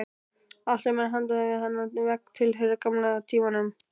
Allt sem er handan við þennan vegg tilheyrir gamla tímanum.